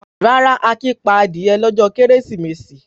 Rárá, Akin pa adìẹ lọ́jọ́ Kérésìmesì.